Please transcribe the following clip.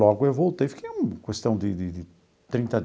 Logo eu voltei, fiquei um questão de de de trinta.